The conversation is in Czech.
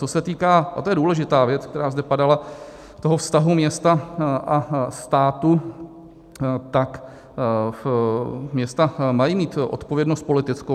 Co se týká - a to je důležitá věc, která zde padala - toho vztahu města a státu, tak města mají mít odpovědnost politickou.